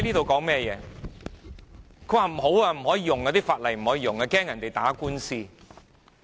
她說不可以使用這項法例，因為害怕別人打官司。